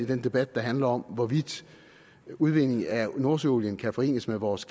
den debat der handler om hvorvidt udvindingen af nordsøolien kan forenes med vores